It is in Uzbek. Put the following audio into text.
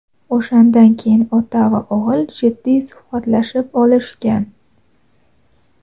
o‘shandan keyin ota va o‘g‘il jiddiy suhbatlashib olishgan.